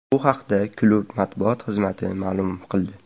Bu haqda klubi matbuot xizmati ma’lum qildi .